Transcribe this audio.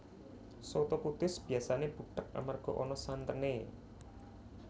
Soto Kudus biyasané butheg amarga ana santené